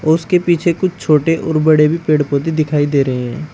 उसके पीछे कुछ छोटे और बड़े भी पेड़ पौधे दिखाई दे रहे हैं।